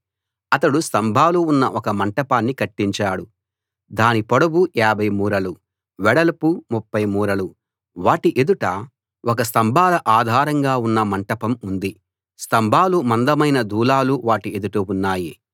అతడు స్తంభాలు ఉన్న ఒక మంటపాన్ని కట్టించాడు దాని పొడవు 50 మూరలు వెడల్పు 30 మూరలు వాటి ఎదుట ఒక స్తంభాల ఆధారంగా ఉన్న మంటపం ఉంది స్తంభాలు మందమైన దూలాలు వాటి ఎదుట ఉన్నాయి